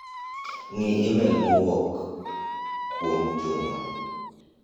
Ng'i imel ma owuok kuom Juma.